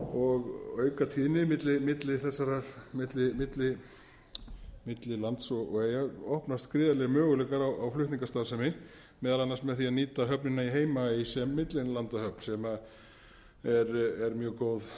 og auka tíðni milli lands og eyja opnast gríðarlegir möguleikar í flutningastarfsemi meðal annars með því að nýta höfnina í heimaey sem millilandahöfn sem er mjög góð höfn sem